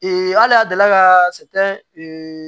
hali a delila ka